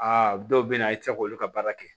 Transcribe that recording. Aa dɔw bɛ yen nɔ i tɛ se k'olu ka baara kɛ